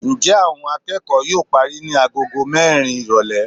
njẹ awón akeko yóò parí ni àgọ́gọ́ mẹrin irolè.